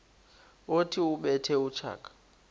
othi ubethe utshaka